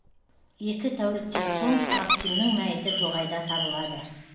екі тәуліктен соң максимнің мәйіті тоғайда табылады